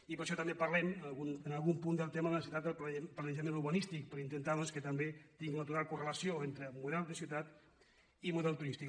i per això també parlem en algun punt del tema de la necessitat del planejament urbanístic per intentar doncs que també tingui una altra correlació entre model de ciutat i model turístic